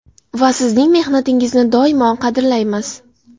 Va sizning mehnatingizni doimo qadrlaymiz.